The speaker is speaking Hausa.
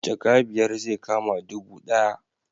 Jaka biyar zai kama dubu ɗaya